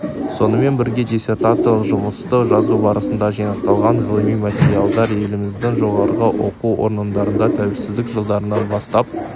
сонымен бірге диссертациялық жұмысты жазу барысында жинақталған ғылыми материалдар еліміздің жоғарғы оқу орындарында тәуелсіздік жылдарынан бастап